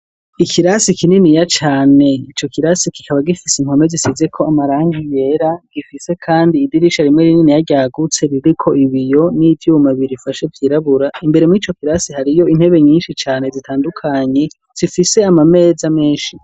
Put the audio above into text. Ikirasi kininiya cane ico kirasi kikaba gifise inkome zisize ko amarangi yera .Gifise kandi idirisha rimwe rininiya ryagutse ririko ibiyo n'ivyuma birifashe yirabura imbere mu'ico kirasi hariyo intebe nyinshi cane zitandukanye zifise amameza menshi.